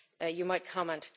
You might comment.